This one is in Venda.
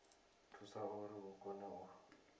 thusa uri hu kone u